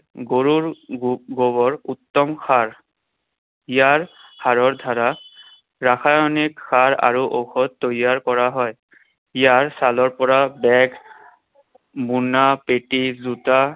গৰুৰ গো~ গোবৰ উত্তম সাৰ। ইয়াৰ সাৰৰ দ্বাৰা ৰাসায়নিক সাৰ আৰু ঔষধ তৈয়াৰ কৰা হয়। ইয়াৰ ছালৰ পৰা bag, মোনা, পেটি, জোতা,